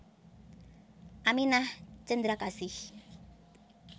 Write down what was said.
Aminah Cendrakasih